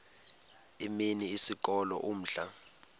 imini isikolo umdlalo